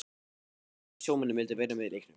Margir sjómenn vildu vera með í leiknum.